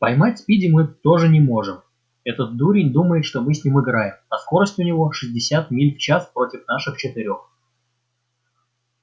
поймать спиди мы тоже не можем этот дурень думает что мы с ним играем а скорость у него шестьдесят миль в час против наших четырёх